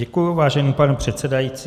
Děkuji, vážený pane předsedající.